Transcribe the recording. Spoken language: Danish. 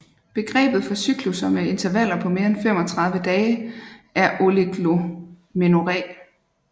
Begrebet for cyklusser med intervaller på mere end 35 dage er oligomenorré